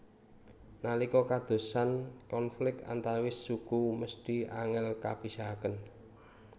Nalika kadadosan konflik antawis suku mesthi angel kapisahaken